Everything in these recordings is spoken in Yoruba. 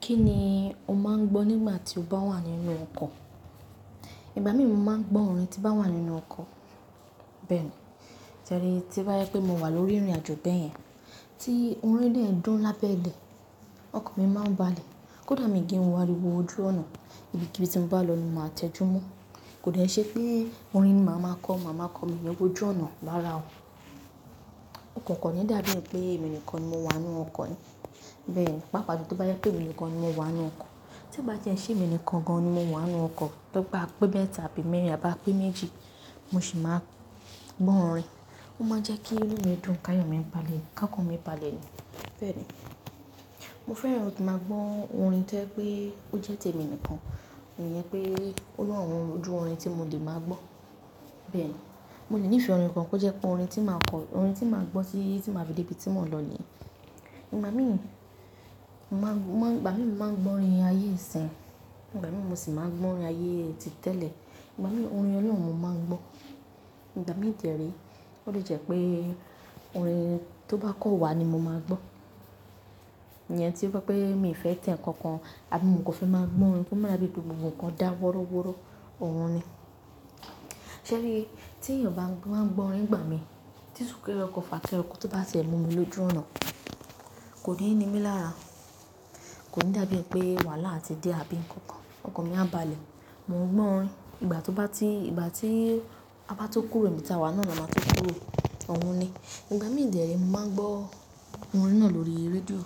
Kí ni o máa ń gbọ́ nígbà tí o bá wà nínú ọkọ̀? Ìgbà mí mo máa ń gbọ́ orin tí n bá wà nínú ọkọ̀. Bẹ́ẹ̀ni. Ṣẹ ríi tó bá yẹ pé mo wà lórí ìrìnàjò bẹ́ẹ̀ yẹn, tí orin dẹ̀ ń dùn lábẹ́ ilẹ̀, ọkàn mi máa ń balẹ̀. Kódà mi kín wo aríwo ojú ọnà, ibi kibii tí mo bá lọ ni màá tẹjúmọ́. Kò dẹ̀ ní ṣe pé orin máa ma kọ́, máa ma kọ́ mi ní ibojú ọnà lára o. Kò kàn ní dàbí è pé èmi nìkan ni mo wà nínú ọkọ̀ yẹn. Bẹ́ẹ̀ ni. Pápà tí ó bá jẹ pé èmi nìkan ni mo wà nínú ọkọ̀, tí ó bá tiẹ́ nṣé èmi nìkan gan-an ni mo wà nínú ọkọ̀, tójẹ pé a pé mẹ́ta àbí mẹ́rin a bá pé méjì, mo sì máa gbọ́ orin. Ó máa n jẹ́ kí inú mi dùn káyọ̀ mi ń balẹ̀, kọ́kán mi balẹ̀ ni. Bẹ́ẹ̀ ni. Mo fẹ́ran kí n máa gbọ́ orin tí ẹ pé ó jẹ́ tèmi nìkan, ìyẹn pé olú ọ̀run ju orin tí mo lè máa gbọ́. Bẹ́ẹ̀ ni. Mo lè nífẹ̀ẹ́ orin kan kó jẹ́ pé orin tí màá kọ-- orin tí màá gbọ́ tí tí màá fi dé ibi tí mò ń lọ nìyẹn. Ìgbà mí mo máa ń, Ìgbà mí mo máa ń gbọ́ orin ayé ìsìn, ìgbà mí mo sì máa ń gbọ́ orin ayé ti tẹ́lẹ̀. Ìgbà mí orin ọlọ́run mo máa ń gbọ́. Ìgbà mí ì dè rèé, ó lè jẹ́ pé orin tó bá kàn wa ni mo máa gbọ́. Ìyẹn tí ó bá pé mi fẹ́ tẹ́ nǹkan kan, àbí mo kò fẹ́ máa gbọ́ orin kó má dabi wípé gbogbo nǹkan dá wọ́rọ́wọ́rọ́, òun ni. Ṣérii, tí èèyàn bá ń gbọ́ orin ìgbà mí, tí sùn kẹ́re fàkẹ́rẹ ọkọ̀ tó bá ti ẹ̀ mú mi lójú ọnà, kò ní ni mí lára. Kò ní dàbí è pé wàhálà ti dé àbí nǹkan kan, ọkàn mi á balẹ̀. Mo ń gbọ́ orin, ìgbà tó bá ti-- ìgbà tí a bá tó kúrò níbi tí a wà náà la máa tó kúrò, òun ni. Ìgbà mí ì dẹ̀ rèé, mo máa ń gbọ́ orin náà lórí rédíò,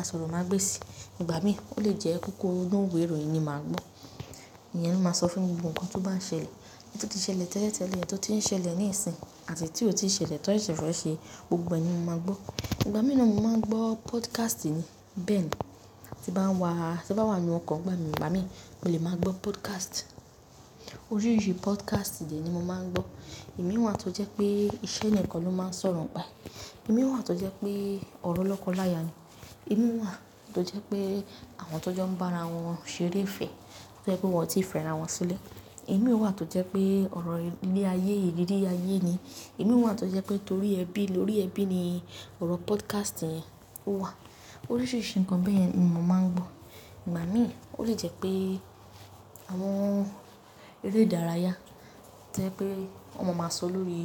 àsọ̀rọ̀ máa gbèsì. Ìgbà mí ó lè jẹ́ kókó inú òwe ìròyìn ni màá gbọ́. Ìyẹn ló máa sọ fún mi gbogbo nǹkan tí ó bá ń ṣẹlẹ̀, ohun tí ó ti ṣẹlẹ̀ tẹ́lẹ̀tẹ́lẹ̀, ohun tí ó ti ń ṣẹlẹ̀ níìsín, àti èyí tí ò tí ì ṣẹlẹ̀ tó ṣẹ̀ṣẹ̀ fẹ́ẹ́ ṣe, gbogbo ẹni mo máa gbọ́. Ìgbà mí ni mo máa ń gbọ́ pódkásìtì ni. Bẹ́ẹ̀ ni. Tí bá wà, tí bá wà nínú ọkọ̀ ìgbà mí, ìgbà mí mo lè máa gbọ́ pódkásìt. Oríṣìíríṣìí pódkásìtì ni mo máa ń gbọ́. Omii wà tó jẹ́ pé iṣẹ́ nìkan ló máa ń sọ̀rọ̀ ń pa. Ìmí wà tó jẹ́ pé ọ̀rọ̀ ọlọ́kọ láya ni. Ìmí wà tó jẹ́ pé àwọn tó jọ ń bá ara wọn ṣeré ìfẹ́, tó jẹ́ pé wọ́n ò tí ì fẹ́ra wọn sílẹ̀. Ìmí wà tó jẹ́ pé ọ̀rọ̀ ilé ayé, ìrírí ayé ni. Ìmí wà tó jẹ́ pé torí ẹbí, lórí ẹbí ni ọ̀rọ̀ pódkásìtì yẹn ó wà. Oríṣìíríṣìí nǹkan bẹ́ẹ̀ yẹn ni mo máa ń gbọ́. Ìgbà mí ó lè jẹ́ pé àwọn eré ìdárayá, tó jẹ́ pé wọ́n ma máa sọ lórí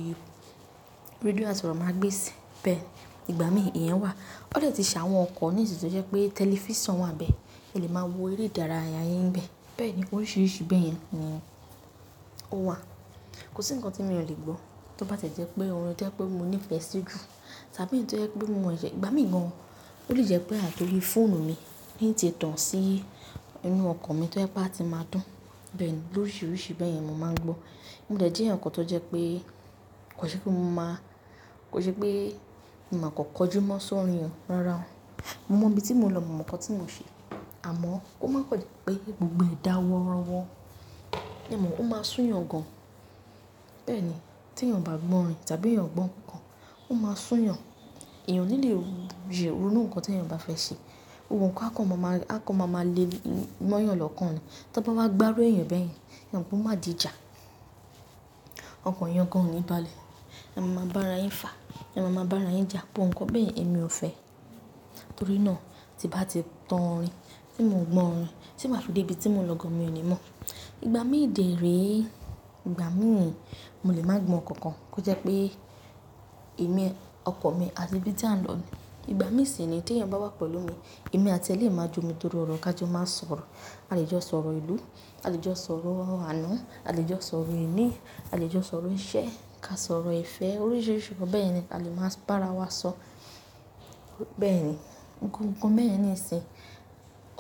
rédíò àsọ̀rọ̀ máa gbèsì. Bẹ́ẹ̀ ni. Ìgbà mí ìyẹn wà. Ó lè ti ṣàwọn nkan mií tì tó jẹ́ pé tẹlifíṣàn wà nbẹ́ẹ̀, ẹ lè máa wo eré ìdárayá n bẹ́ẹ̀. Bẹ́ẹ̀ ni, oríṣìíríṣìí bẹ́ẹ̀ yẹn ni ó wà. Kò sí nǹkan tí mio lè gbọ́ tó bá tẹ̀ jẹ́ pé orin tí ẹ pé mo nífẹ̀ẹ́ sí jù, tàbí èyí tó jẹ́ pé mo wẹ̀ yẹ-- ìgbà mí gan-an, ó lè jẹ́ pé àti orí fóònù mi ní ń tẹ tàn sí inú ọkọ̀ mi tí ó jẹ́ pé a ti máa dún. Bẹ́ẹ̀ ni. Oríṣìíríṣìí bẹ́ẹ̀ yẹn ni mo máa ń gbọ́. Mo dẹ̀ẹ̀ jẹ́ èyàn kan tó jẹ́ pé kò ṣe pé mo máa, kò ṣe pé màá kọ̀ kọjú mọ́ sọ́rin yẹn, rárá o. Mo mọ ibi tí mo lọ, mo mọ nǹkan tí mo ṣe. Àmọ́ kó máa kàn jẹ́ dé pé gbogbo ẹ̀ dá wọ́rọ́wọ́. Ẹ mọ̀ ó máa sún yàn gan-an. Bẹ́ẹ̀ ni. Tí èèyàn bá gbọ́ orin tàbí èèyàn kò gbọ́ nǹkan kan, ó máa sún yàn. Èèyàn o nílẹ̀ yóò ronu nǹkan tí èèyàn bá fẹ́ ṣe. Ohun kan á kọ́ máa ma, á kọ́ máa ma lé mọ́yàn lọ́kàn ni. Tó bá wá gbárù ẹ́ yẹn bẹ́ẹ̀ yẹn, èèyàn kò máa di ìjà. Ọkàn èèyàn gan-an ò ní balẹ̀. Ẹ máa máa bá ara yín fà, ẹ máa máa bá ara yín jà, bó nǹkan bẹ́ẹ̀ èmi ò fẹ́. Torí náà tí bá ti tan orin, tí mò n gbọ́ orin, tí màá fi dé ibi tí mo lọ gan-an mi ò ní mọ̀. Ìgbà mí ì dẹ̀ rèé, ìgbà mí mo lè máa gbọ́ nǹkan kan kó jẹ́ pé èmi, ọkọ̀ mi àti ibi tí a ń lọ ni. Ìgbà mí sì ni tí èèyàn bá wà pẹ̀lú mi, èmi àti ẹ lẹ́ẹ̀ máa jó ni torí ọ̀rọ̀ ká jọ máa sọ̀rọ̀. A lè jọ sọ̀rọ̀ ìlú, a lè jọ sọ̀rọ̀ àná, a lè jọ sọ̀rọ̀ èní, a lè jọ sọ̀rọ̀ iṣẹ́, ká sọ̀rọ̀ ìfẹ́, oríṣìíríṣìí nǹkan bẹ́ẹ̀ ni a lè máa bá ara wa sọ. Bẹ́ẹ̀ ni. Nnu, nǹkan bẹ́yẹ̀n níìsín,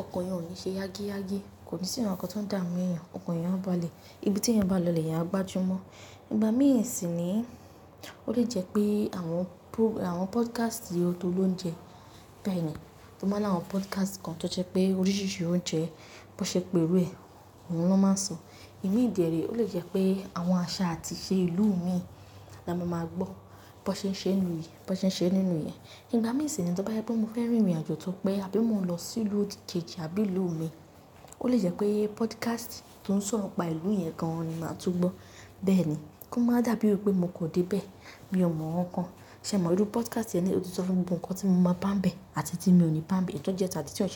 ọkàn yẹn ò ní ṣe yágíyágí, kò ní sì nǹkan kan tó ń dààmú èèyàn, ọkọ̀ yẹn á balẹ̀, ibi tí èèyàn bá lọ lẹ̀yẹn á gbajúmọ̀. Ìgbà mí ì sì nìi ó lè jẹ́ pé àwọn pú-- àwọn pódkásìtì tó lóúnjẹ bẹ́ẹ̀ yẹn, ó máa ní àwọn pódkásìtì kan tó jẹ́ pé oríṣìíríṣìí oúnjẹ bó ṣe pé erù ẹ, òun ló máa sọ. Ìmíì dẹ̀rèé ó lè jẹ́ pé àwọn àṣà àti ìṣe ìlú mi la mo máa gbọ́. Bó ṣe ń ṣe inú yìí, bó ṣe ń ṣe nínú ìyẹn. Ìgbà míì sì nii tó bá yẹ pé mo fẹ́ rin ìrìnàjò tó pé àbí mo lọ sí ìlú òkè òkè àbí ìlú mi, ó lè jẹ́ pé pódkásìtì tó ń sọ ọ̀pá ìlú yẹn gan-an ni màá tú gbọ́. Bẹ́ẹ̀ ni. Kó máa dàbí è pé mo kọ̀ dé bẹ́ẹ̀, mi ò mọ̀ nǹkan. Ṣé ẹ mọ̀ irú pódkásìtì yẹn ni ó ti sọ fún mi gbogbo nǹkan tí mo máa bá ń bẹ̀ àti tí mi ò ní bá ń bẹ̀, kí ó jẹ́ ẹ́ tàbí tí ó ṣe kò.